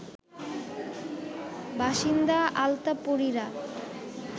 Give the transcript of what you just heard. বাসিন্দা আলতাপরিরা